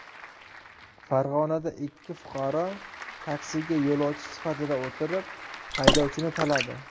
Farg‘onada ikki fuqaro taksiga yo‘lovchi sifatida o‘tirib, haydovchini taladi.